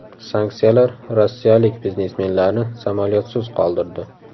Sanksiyalar rossiyalik biznesmenlarni samolyotsiz qoldirdi.